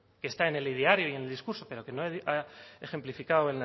que está en el ideario y en el discurso pero que no ha ejemplificado